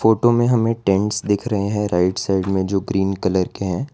Photo में हमें tents दिख रहे हैं राइट साइड में जो ग्रीन कलर के हैं।